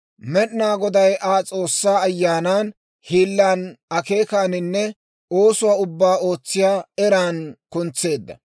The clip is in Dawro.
Med'inaa Goday Aa S'oossaa Ayyaanan, hiilan, akeekaaninne oosuwaa ubbaa ootsiyaa eran kuntseedda.